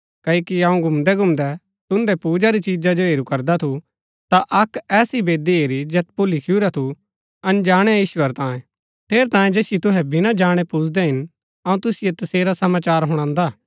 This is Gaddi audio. क्ओकि अऊँ घुमंदै घुमंदै तुन्दै पूजा री चिजा जो हेरू करदा थु ता अक्क ऐसी वेदी हेरी जैत पुर लिखुरा थु अनजाणै ईश्‍वर तांयें ठेरैतांये जैसिओ तुहै विना जाणै पुजदै हिन अऊँ तुसिओ तसेरा समाचार हुणान्दा